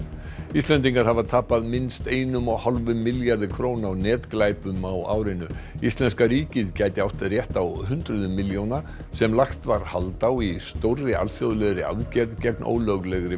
Íslendingar hafa tapað minnst einum og hálfum milljarði króna á netglæpum á árinu íslenska ríkið gæti átt rétt á hundruðum milljóna sem lagt var hald á í stórri alþjóðlegri aðgerð gegn ólöglegri